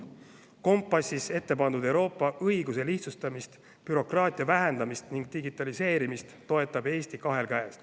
Kompassis ettepandud Euroopa õiguse lihtsustamist, bürokraatia vähendamist ning digitaliseerimist toetab Eesti kahe käega.